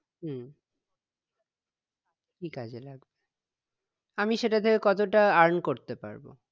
হম কি কাজে লাগবে আমি সেটা থেকে কতটা earn করতে পারবো